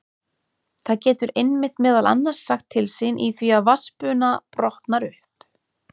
Það getur einmitt meðal annars sagt til sín í því að vatnsbuna brotnar upp.